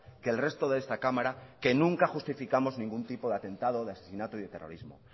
que el resto de esta cámara que nunca justificamos ningún tipo de atentado de asesinato y de terrorismo